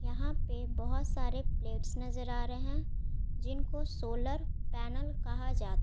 यहाँ पे बहोत सारे प्लेट्स नज़र आ रहे है जिनको सोलर पैनल कहा जा--